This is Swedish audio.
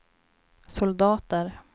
soldater